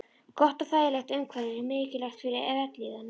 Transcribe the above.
Gott og þægilegt umhverfi er mikilvægt fyrir vellíðan mannsins.